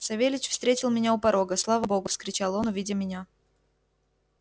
савельич встретил меня у порога слава богу вскричал он увидя меня